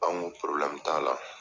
An ko t'a la.